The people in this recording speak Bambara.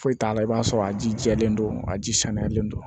Foyi t'a la i b'a sɔrɔ a ji jɛlen don a ji saniyalen don